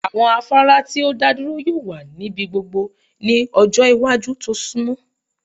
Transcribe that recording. Awọn afara ti o daduro yoo wa nibi gbogbo ni ọjọ iwaju to sunmọ